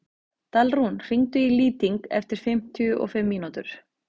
Dalrún, hringdu í Lýting eftir fimmtíu og fimm mínútur.